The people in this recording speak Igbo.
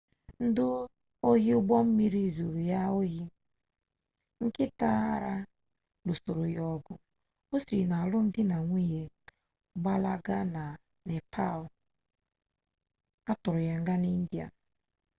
ndị ohi ụgbọ mmiri zuri ya ohi nkịta ara lụsoro ya ọgụ o siri na-alụm di na nwunye gbalaga na nepal a tụọ ya nga na india